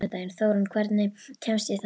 Þórunn, hvernig kemst ég þangað?